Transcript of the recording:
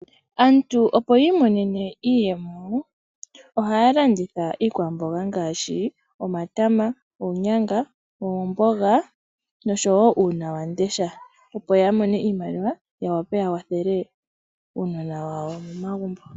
Aantu opo yiimonene iiyemo ohaya landitha iikwamboga ngaashi omatama, oonyanga, oomboga, osho wo uunawamundesha opo yamone iimaliwa yawape yawathele uunona wayo momagumbo.